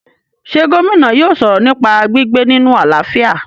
ṣé Gómìnà yóò sọ̀rọ̀ nípa gbígbé nínu àlàáfíà?